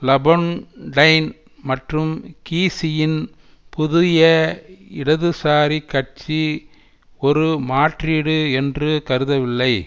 லபொன் time மற்றும் கீசியின் புதிய இடதுசாரி கட்சி ஒரு மாற்றீடு என்று கருதவில்லை